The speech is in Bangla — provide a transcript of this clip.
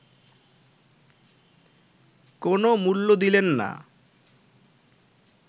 কোনও মূল্য দিলেন না